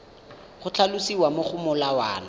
go tlhalosiwa mo go molawana